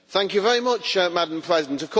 Thank you very much, Madam President.